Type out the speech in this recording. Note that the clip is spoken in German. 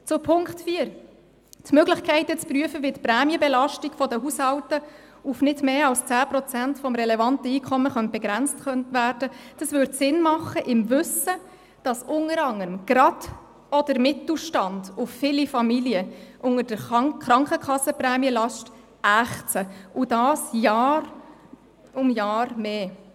Zu Punkt 4: Die Möglichkeit, zu prüfen, wie die Prämienbelastung der Haushalte auf nicht mehr als 10 Prozent des relevanten Einkommens begrenzt werden könnte, würde im Wissen darum Sinn machen, dass unter anderem gerade auch der Mittelstand und viele Familien unter der Krankenkassenprämienlast ächzen – und das von Jahr zu Jahr mehr.